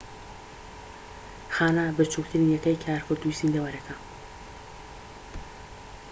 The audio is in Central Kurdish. خانە بچوکترین یەکەی کارکردووی زیندەوەرەێکە